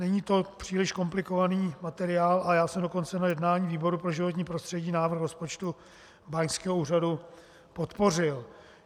Není to příliš komplikovaný materiál a já jsem dokonce na jednání výboru pro životní prostředí návrh rozpočtu báňského úřadu podpořil.